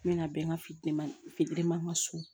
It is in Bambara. N bɛna bɛn ka fili man fitirima ka so